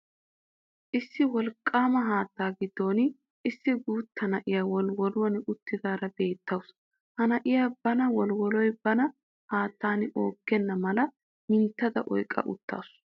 Issi wolqqaama haattaa giddon issi guutta na'iya woliwoluwan uttidaara beettawusu. Ha na'iya bana woliwoloy bana haattan onggenna mala mintta oyqqa uttaasu.